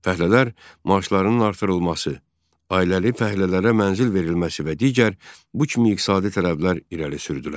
Fəhlələr maaşlarının artırılması, ailəli fəhlələrə mənzil verilməsi və digər bu kimi iqtisadi tələblər irəli sürdülər.